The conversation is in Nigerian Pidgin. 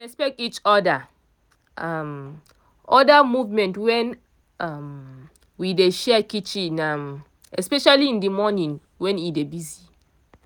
we dey respect each oda um other movement when um we dey share kitchen um especially in the morning when e dey busy